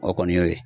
O kɔni y'o ye